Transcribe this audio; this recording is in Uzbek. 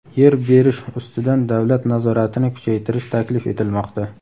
Yer berish ustidan davlat nazoratini kuchaytirish taklif etilmoqda.